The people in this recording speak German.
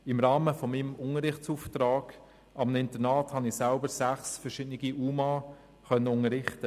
Im Rahmen meines Unterrichtsauftrags an einem Internat konnte ich selber sechs verschiedene UMA unterrichten.